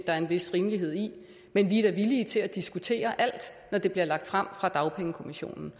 er en vis rimelighed i men vi er da villige til at diskutere alt når det bliver lagt frem fra dagpengekommissionens